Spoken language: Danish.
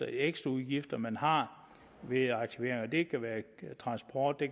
ekstraudgifter man har ved aktiveringen og det kan være transport det